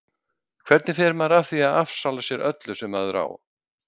Hvernig fer maður að því að afsala sér öllu sem maður á?